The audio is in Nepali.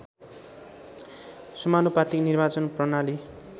समानुपातिक निर्वाचन प्रणाली